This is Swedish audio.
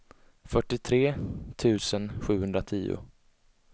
fyrtiotre tusen sjuhundratio